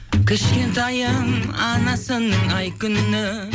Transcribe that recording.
кішкентайым анасының ай күні